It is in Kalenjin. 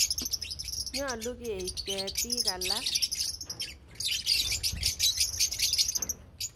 Nyalu keip ketik alak.